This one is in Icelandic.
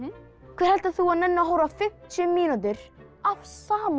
hver heldur þú að nenni að horfa á fimmtíu mínútur af sama